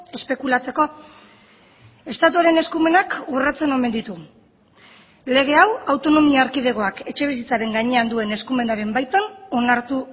espekulatzeko estatuaren eskumenak urratzen omen ditu lege hau autonomia erkidegoak etxebizitzaren gainean duen eskumenaren baitan onartu